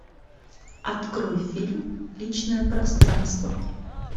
открой фильм личное пространство